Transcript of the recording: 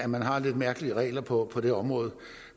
man har lidt mærkelige regler på det område